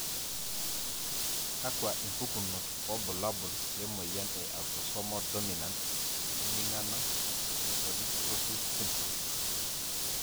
Kakwa impukunot wobulabul lemoyian e Autosomal dominant emingano onychodystrophy syndrome?